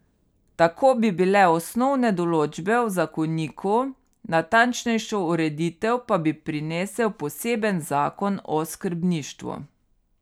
Tako bi bile osnovne določbe v zakoniku, natančnejšo ureditev pa bi prinesel poseben zakon o skrbništvu.